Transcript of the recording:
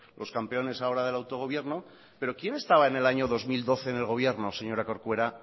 los campeones ahora del autogobierno pero quién estaba en el año dos mil doce en el gobierno señora corcuera